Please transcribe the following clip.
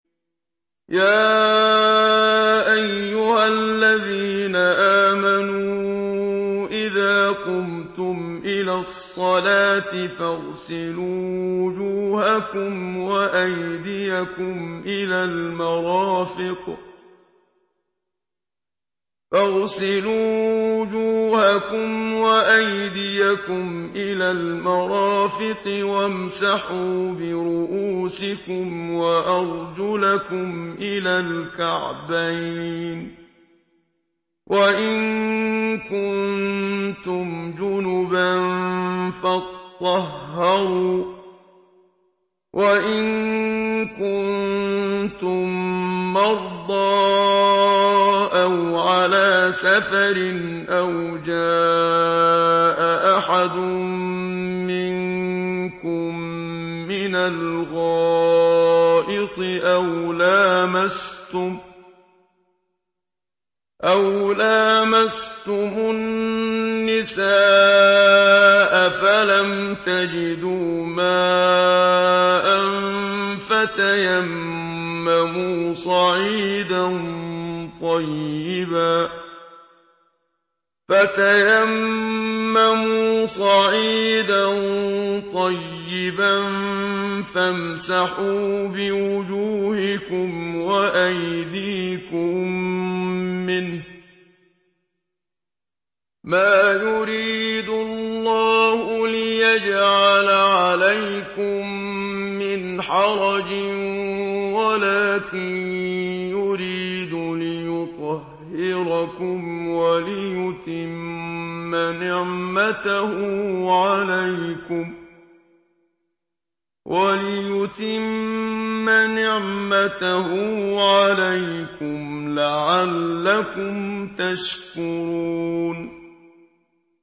يَا أَيُّهَا الَّذِينَ آمَنُوا إِذَا قُمْتُمْ إِلَى الصَّلَاةِ فَاغْسِلُوا وُجُوهَكُمْ وَأَيْدِيَكُمْ إِلَى الْمَرَافِقِ وَامْسَحُوا بِرُءُوسِكُمْ وَأَرْجُلَكُمْ إِلَى الْكَعْبَيْنِ ۚ وَإِن كُنتُمْ جُنُبًا فَاطَّهَّرُوا ۚ وَإِن كُنتُم مَّرْضَىٰ أَوْ عَلَىٰ سَفَرٍ أَوْ جَاءَ أَحَدٌ مِّنكُم مِّنَ الْغَائِطِ أَوْ لَامَسْتُمُ النِّسَاءَ فَلَمْ تَجِدُوا مَاءً فَتَيَمَّمُوا صَعِيدًا طَيِّبًا فَامْسَحُوا بِوُجُوهِكُمْ وَأَيْدِيكُم مِّنْهُ ۚ مَا يُرِيدُ اللَّهُ لِيَجْعَلَ عَلَيْكُم مِّنْ حَرَجٍ وَلَٰكِن يُرِيدُ لِيُطَهِّرَكُمْ وَلِيُتِمَّ نِعْمَتَهُ عَلَيْكُمْ لَعَلَّكُمْ تَشْكُرُونَ